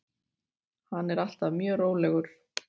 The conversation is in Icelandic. Hann er alltaf mjög rólegur.